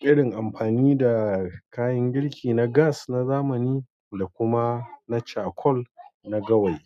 irin amfani da kayan girki na gas na zamani da kuma na cakol na gawayi.